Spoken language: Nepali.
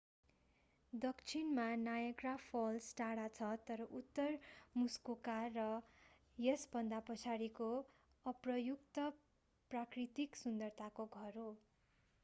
दक्षिणमा नायग्रा फल्स टाढा छ र उत्तर मुस्कोका र यसभन्दा पछाडिको अप्रयुक्त प्राकृतिक सुन्दरताको घर हो